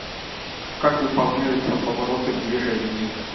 как выполняются повороты в движении